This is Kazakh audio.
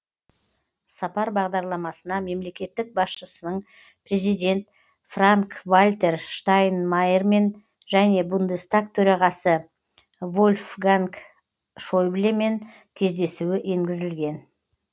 сапар бағдарламасына мемлекет басшысының президент франк вальтер штайнмайермен және бундестаг төрағасы вольфганг шойблемен кездесуі енгізілген